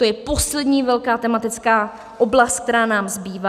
To je poslední velká tematická oblast, která nám zbývá.